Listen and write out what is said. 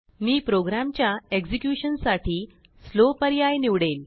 मीप्रोग्रॅमच्या एक्झेक्युशनसाठीslow पर्याय निवडेल